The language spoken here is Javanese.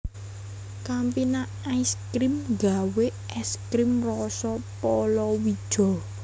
Campina Ice Cream nggawe es krim roso polowijo